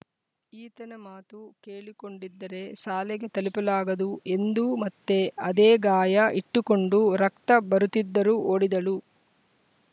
ಈತನ ಮಾತು ಕೇಳಿಕೊಂಡಿದ್ದರೆ ಶಾಲೆಗೆ ತಲುಪಲಾಗದು ಎಂದು ಮತ್ತೆ ಅದೇ ಗಾಯ ಇಟ್ಟುಕೊಂಡು ರಕ್ತ ಬರುತ್ತಿದ್ದರೂ ಓಡಿದಳು